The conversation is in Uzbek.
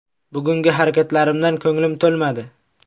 Bugungi harakatlarimdan ko‘nglim to‘lmadi.